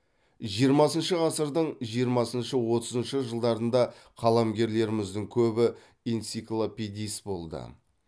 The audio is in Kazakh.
жиырмасыншы ғасырдың жиырмасыншы отызыншы жылдарында қаламгерлеріміздің көбі энциклопедист болды